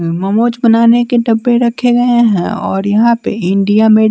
ममोज बनाने के डब्बे रखे गए हैं और यहाँ पे इंडिया में --